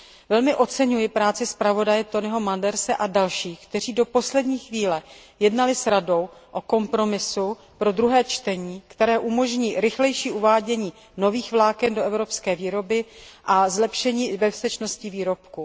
Velmi oceňuji práci zpravodaje Toineho Manderse a dalších, kteří do poslední chvíle jednali s Radou o kompromisu ve druhém čtení, který umožní rychlejší uvádění nových vláken do evropské výroby a zlepšení bezpečnosti výrobků.